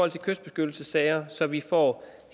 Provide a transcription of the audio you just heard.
i kystbeskyttelsessager så vi får